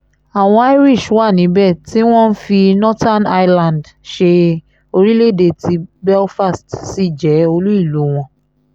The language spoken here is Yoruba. àwọn irish wà níbẹ̀ tí wọ́n ń fi northern ireland ṣe orílẹ̀ èdè tí belfast sì jẹ́ olú ìlú wọn